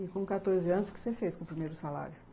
E com quatorze anos, o que você fez com o primeiro salário?